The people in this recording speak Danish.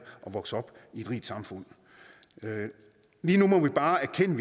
at vokse op i et rigt samfund lige nu må vi bare erkende